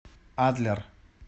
адлер